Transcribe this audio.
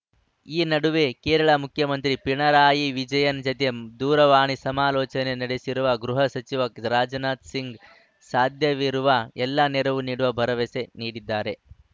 ಈ ನಡುವೆ ಕೇರಳ ಮುಖ್ಯಮಂತ್ರಿ ಪಿಣರಾಯಿ ವಿಜಯನ್‌ ಜತೆ ದೂರವಾಣಿ ಸಮಾಲೋಚನೆ ನಡೆಸಿರುವ ಗೃಹ ಸಚಿವ ರಾಜನಾಥ ಸಿಂಗ್‌ ಸಾಧ್ಯವಿರುವ ಎಲ್ಲ ನೆರವು ನೀಡುವ ಭರವಸೆ ನೀಡಿದ್ದಾರೆ